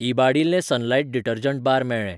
इबाडिल्ले Sunlight detergent bar मेळ्ळे.